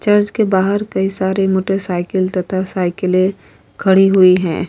Church के बाहर कई सारे मोटर साइकिले तथा साइकिले खड़ी हुई है।